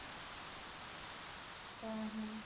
ଉଁ ହୁଁ